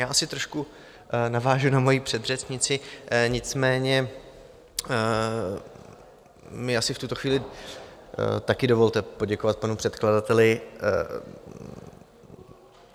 Já asi trošku navážu na moji předřečnici, nicméně mi asi v tuto chvíli taky dovolte poděkovat panu předkladateli.